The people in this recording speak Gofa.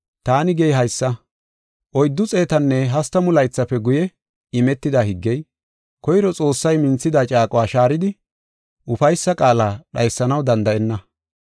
Taani gey haysa; oyddu xeetanne hastamu laythafe guye imetida higgey, koyro Xoossay minthida caaquwa shaaridi ufaysa qaala dhaysanaw danda7enna.